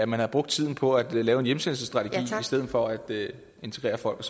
man havde brugt tiden på at lave en hjemsendelsesstrategi i stedet for at integrere folk